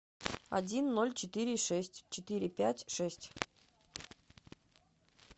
один ноль четыре шесть четыре пять шесть